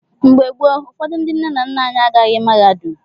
Mgbe gboo, ụfọdụ ndị nna nna anyị agaghị mahadum.